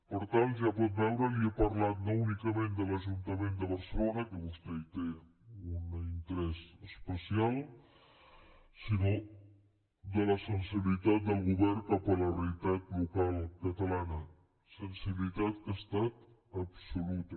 per tant ja pot veure li he parlat no únicament de l’ajuntament de barcelona que vostè hi té un interès especial sinó de la sensibilitat del govern cap a la realitat local catalana sensibilitat que ha estat absoluta